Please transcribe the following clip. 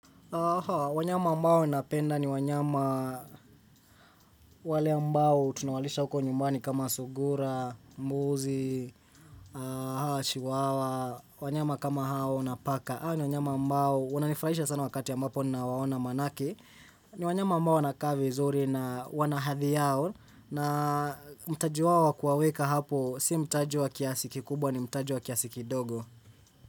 Haa, wanyama ambao napenda ni wanyama wale ambao tunawalisha huko nyumbani kama sugura, mbuzi, haa, chiwawa, wanyama kama hao na paka. Hawa ni wanyama ambao, wananifrahisha sana wakati ambapo nina waona manake, ni wanyama ambao wanakaavi zuri na wanahadhiyao na mtaji wao wa kuwaweka hapo, si mtaji wa kiasiki kubwa ni mtajiwa kiasiki dogo.